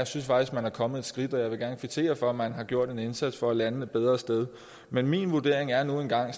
synes faktisk man er kommet et skridt videre og jeg vil gerne kvittere for at man har gjort en indsats for at lande et bedre sted men min vurdering er nu engang